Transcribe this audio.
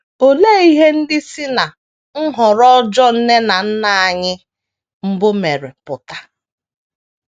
Olee ihe ndị si ná nhọrọ ọjọọ nne na nna anyị mbụ mere pụta?